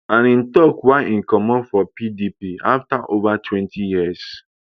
and im tok why im comot from pdp afta over twenty years